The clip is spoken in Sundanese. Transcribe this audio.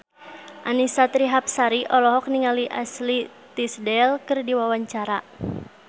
Annisa Trihapsari olohok ningali Ashley Tisdale keur diwawancara